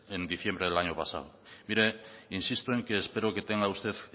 en diciembre del año pasado mire insisto en que espero que tenga usted